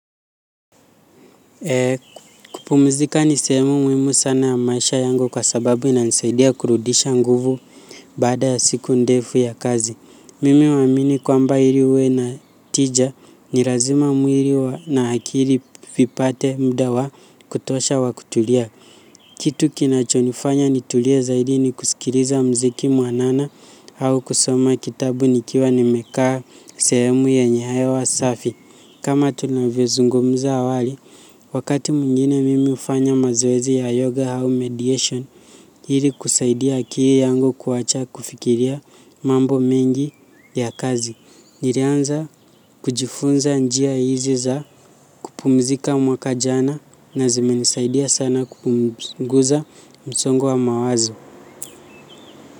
Kupumzika ni sehemu muhimu sana ya maisha yangu kwa sababu inanisaidia kurudisha nguvu baada ya siku ndefu ya kazi. Mimi huamini kwamba hii huwa ina tija ni razima mwiri wa na akiri vipate mda wa kutosha wa kutulia. Kitu kinachonifanya nitulie zaidi ni kusikiriza mziki mwanana au kusoma kitabu nikiwa nimekaa sehemu yenye hewa safi. Kama tunavyozungumuza awali, wakati mwingine mimi hufanya mazoezi ya yoga au mediation ili kusaidia akiri yangu kuwacha kufikiria mambo mengi ya kazi. Nilianza kujifunza njia hizi za kupumzika mwaka jana na zimenisaidia sana kupunguza msongo wa mawazo.